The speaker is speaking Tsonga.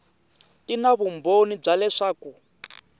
ti na vumbhoni bya leswaku